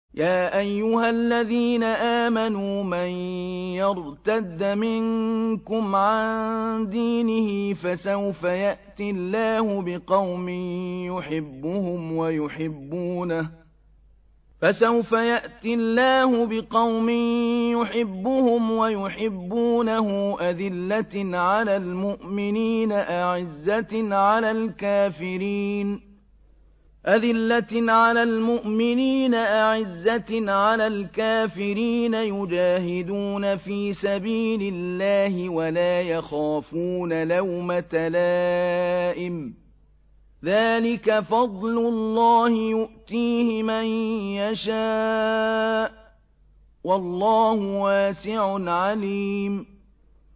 يَا أَيُّهَا الَّذِينَ آمَنُوا مَن يَرْتَدَّ مِنكُمْ عَن دِينِهِ فَسَوْفَ يَأْتِي اللَّهُ بِقَوْمٍ يُحِبُّهُمْ وَيُحِبُّونَهُ أَذِلَّةٍ عَلَى الْمُؤْمِنِينَ أَعِزَّةٍ عَلَى الْكَافِرِينَ يُجَاهِدُونَ فِي سَبِيلِ اللَّهِ وَلَا يَخَافُونَ لَوْمَةَ لَائِمٍ ۚ ذَٰلِكَ فَضْلُ اللَّهِ يُؤْتِيهِ مَن يَشَاءُ ۚ وَاللَّهُ وَاسِعٌ عَلِيمٌ